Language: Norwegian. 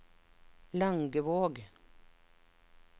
Langevåg